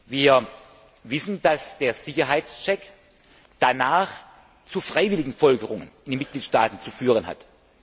Wir wissen, dass der Sicherheitscheck danach zu freiwilligen Folgerungen in den Mitgliedstaaten zu führen